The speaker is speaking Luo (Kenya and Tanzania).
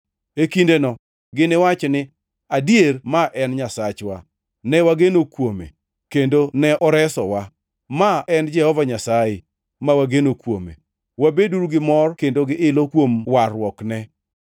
E kindeno giniwach ni, “Adier ma en Nyasachwa; ne wageno kuome, kendo ne oresowa. Ma en Jehova Nyasaye, ne wageno kuome; wabeduru gi mor kendo gi ilo kuom warruokne.”